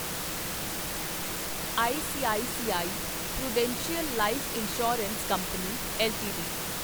ICICI prudential life insurance company LTD